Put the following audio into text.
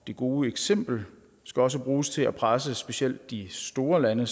det gode eksempel skal også bruges til at presse specielt de store lande